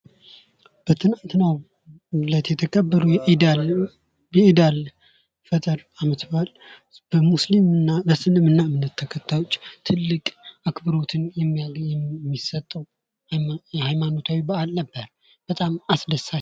በትላንት የተከበረው የኢድ አል ፈጥር አመት በዓል ለሙስሊምና ለእስልምና እምነት ተከታዮች ትልቅ አክብሮትን የሚያገኝ የሚሰጠውና የሃይማኖት ታዊ በዓል ነበር። በጣም አስደሳች ነው።